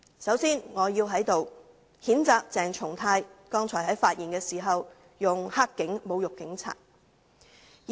首先，我要在此譴責鄭松泰議員剛才在發言時使用"黑警"一詞來侮辱警察。